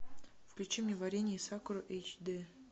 включи мне варенье из сакуры эйч д